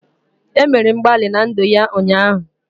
E mere mgbalị na ndụ ya ụnyaahụ